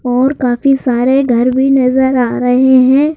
और काफी सारे घर भी नजर आ रहे हैं।